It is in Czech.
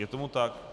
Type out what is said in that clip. Je tomu tak.